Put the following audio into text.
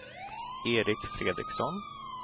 Erik Fredriksson